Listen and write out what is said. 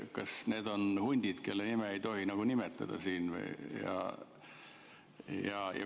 Kas need on hundid, kelle nime ei tohi nimetada?